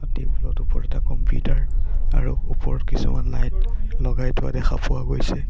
টেবুলত ওপৰত এটা কম্পিউটাৰ আৰু ওপৰত কিছুমান লাইট লগাই থোৱা দেখা পোৱা গৈছে।